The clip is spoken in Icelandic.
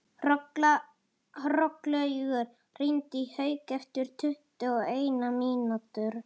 Hrollaugur, hringdu í Hauk eftir tuttugu og eina mínútur.